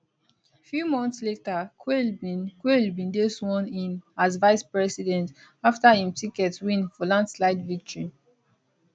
few months later quayle bin quayle bin dey sworn in as vicepresident afta im ticket win for landslide victory